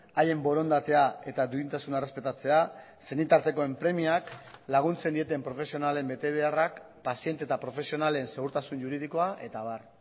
haien borondatea eta duintasuna errespetatzea senitartekoen premiak laguntzen dieten profesionalen betebeharrak paziente eta profesionalen segurtasun juridikoa eta abar